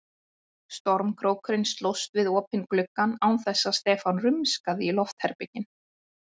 Stormkrókurinn slóst við opinn gluggann án þess að Stefán rumskaði í loftherberginu.